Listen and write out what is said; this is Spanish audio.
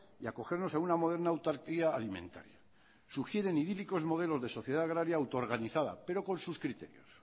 y acogernos a una moderna autarquía alimentaria sugieren idílicos modelos de sociedad agraria autoorganizada pero con sus criterios